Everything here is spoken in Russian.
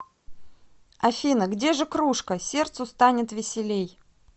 афина где же кружка сердцу станет веселей